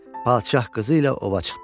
Padşah qızı ilə ova çıxdı.